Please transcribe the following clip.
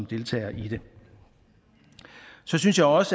deltager i det så synes jeg også